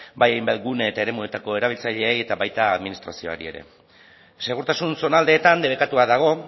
bai hainbat gune eta eremuetako erabiltzaileei eta baita administrazioari ere segurtasun zonaldeetan debekatua dago